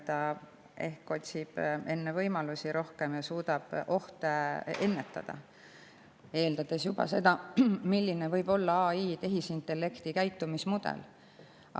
Ta ehk otsib enne rohkem võimalusi ja suudab ohte ennetada, juba eeldades seda, milline võib olla tehisintellekti käitumismudel.